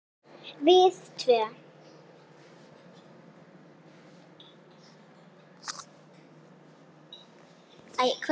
Við tvö.